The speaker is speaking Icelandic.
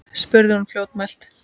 spurði hún fljótmælt.